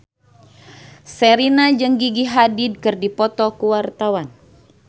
Sherina jeung Gigi Hadid keur dipoto ku wartawan